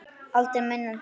Aldrei minna en það.